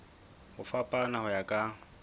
ho fapana ho ya ka